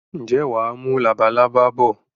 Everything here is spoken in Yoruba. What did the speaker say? Ǹjẹ́ wàá mú labalábá bọ̀?